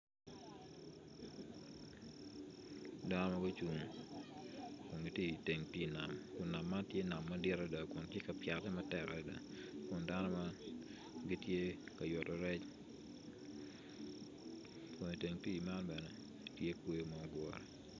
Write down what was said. Dano gucung dok gitye i teng pii nam pii nam man tye pii nam madit adada kun tye ka pyete matek adada kun dano man gitye ka yubo yec kun i teng pii man bene tye kweyo ma odure.